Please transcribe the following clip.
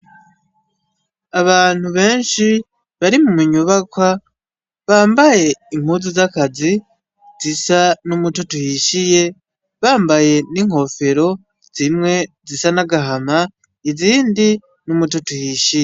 Abantu benshi bari munyubakwa ,bambaye impuzu zakazi, zisa numutoto uhishiye, bambaye ninkofero ,zimwe ,zisa nagahama izindi n'umutoto uhishiye